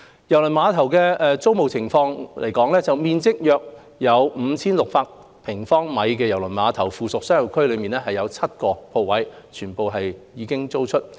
郵輪碼頭租務狀況方面，面積約為 5,600 平方米的郵輪碼頭附屬商業區內的所有7個鋪位已經租出。